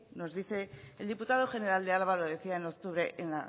el diputado general de álava lo decía en octubre en